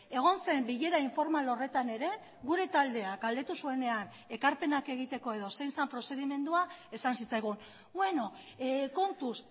egon zen bilera informal horretan ere gure taldeak galdetu zuenean ekarpenak egiteko edo zein zen prozedimendua esan zitzaigun beno kontuz